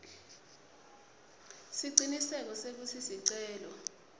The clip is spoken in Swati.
siciniseko sekutsi sicelo